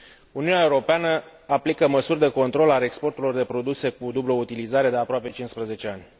Uniunea Europeană aplică măsuri de control al exporturilor de produse cu dublă utilizare de aproape 15 ani.